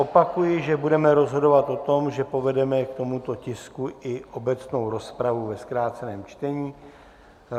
Opakuji, že budeme rozhodovat o tom, že povedeme k tomuto tisku i obecnou rozpravu ve zkráceném čtení.